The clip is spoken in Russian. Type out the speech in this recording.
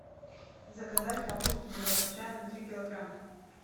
заказать капусту белокочанную три килограмма